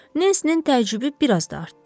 Nensinin təəccübü biraz da artdı.